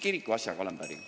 Kirikuasjaga olen ma päri.